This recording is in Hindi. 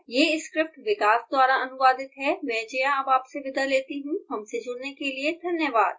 यह स्क्रिप्ट विकास द्वारा अनुवादित है मैं जया अब आपसे विदा लेती हूँ हमसे जुडने के लिए धन्यवाद